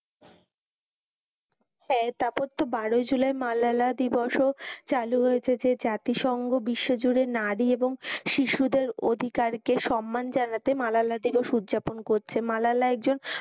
হ্যাঁ তারপর তো বারই জুলাই মালালা দিবসও চালু হয়েছে যে জাতি সংঘ বিশ্ব জুড়ে নারী এবং শিশুদের অধিকারকে সম্মান জানাতে মালালা দিবস উদযাপন করছে। মালালা একজন,